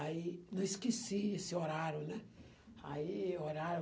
Aí, não esqueci esse horário, né? Aí olharam